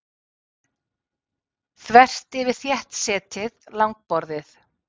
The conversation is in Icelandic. Þvert yfir þéttsetið langborðið.